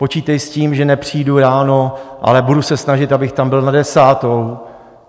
Počítej s tím, že nepřijdu ráno, ale budu se snažit, abych tam byl na desátou.